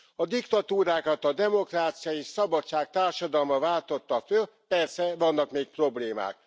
A diktatúrákat, a demokrácia és szabadság társadalma váltotta föl, persze vannak még problémák.